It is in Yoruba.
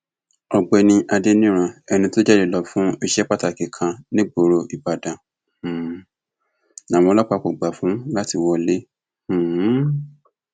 ọgbẹni adẹnirán ẹni tó jáde lọ fún iṣẹ pàtàkì kan nígboro ìbàdàn um làwọn ọlọpàá kò gbà fún láti wọlé um